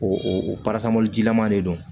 O o parasa mɔli jilaman de don